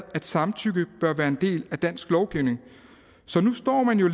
at samtykke bør være en del af dansk lovgivning så nu står man jo